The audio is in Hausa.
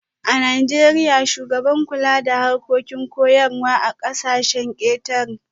A Najeriya, shugaban kula da harkokin koyarwa a kasashen ketare